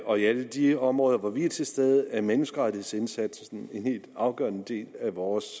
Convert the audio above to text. og i alle de områder hvor vi er til stede er menneskerettighedsindsatsen en helt afgørende del af vores